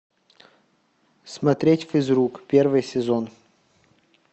смотреть физрук первый сезон